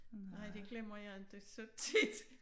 Nej det glemmer jeg inte så tit